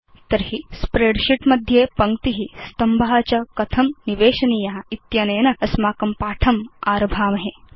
तर्हि स्प्रेडशीट् मध्ये पङ्क्ति स्तम्भ च कथं निवेशनीय इत्यनेन अस्माकं पाठम् आरभामहे